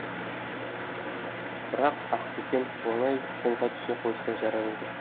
бірақ ақ бөкен оңай қолға түсе қойса жарар еді